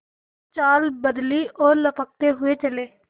कुछ चाल बदली और लपकते हुए चले